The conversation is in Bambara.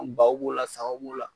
Anw baw b'o la sagaw b'o la